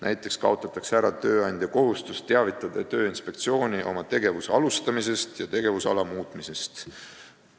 Näiteks kaotatakse ära tööandja kohustus teavitada Tööinspektsiooni oma tegevuse alustamisest ja tegevusala muutmisest.